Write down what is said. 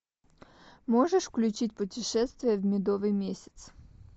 можешь включить путешествие в медовый месяц